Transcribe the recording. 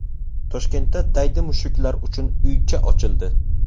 Toshkentda daydi mushuklar uchun uycha ochildi.